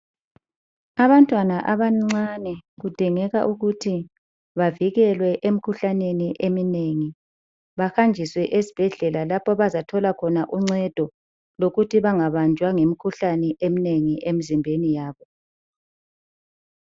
Abantwana abancane kudingeka ukuthi bavikelwe emkhuhlaneni eminengi. Bahanjiswe esibhedlela lapha abazathola khona uncedo lokuthi bangabanjwa yimkhuhlane eminengi emzimbeni yabo.